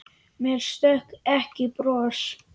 Mér stökk ekki bros.